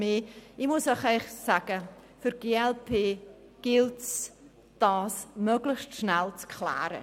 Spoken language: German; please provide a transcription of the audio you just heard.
Ich muss Ihnen ehrlich sagen, dass es für die glp-Fraktion wichtig ist, dies möglichst schnell abzuklären.